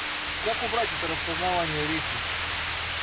как убрать это распознавание речи